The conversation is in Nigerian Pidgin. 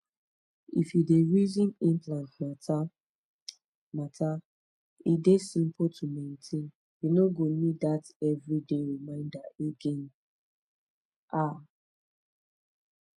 if u dey reason implant mata mata e dey simple to maintain u no go need dat everi day reminder again small pause ah